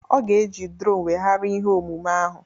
Ọ ga-eji drone weghara ihe omume ahụ